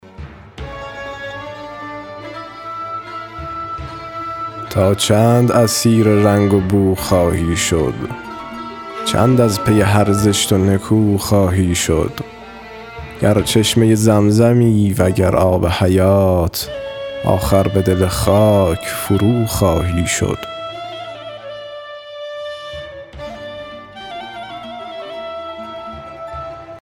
تا چند اسیر رنگ و بو خواهی شد چند از پی هر زشت و نکو خواهی شد گر چشمه زمزمی و گر آب حیات آخر به دل خاک فروخواهی شد